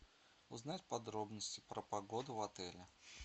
узнать подробности про погоду в отеле